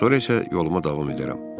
Sonra isə yoluma davam edərəm.